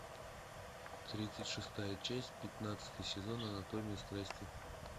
тридцать шестая часть пятнадцатый сезон анатомия страсти